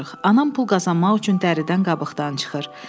Anam pul qazanmaq üçün dəridən qabıqdan çıxır.